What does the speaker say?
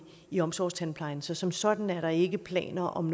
i omsorgstandplejen så som sådan er der ikke planer om